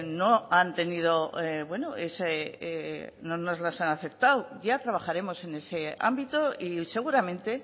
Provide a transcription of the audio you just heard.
no han tenido bueno ese no nos las han aceptado ya trabajaremos en ese ámbito y seguramente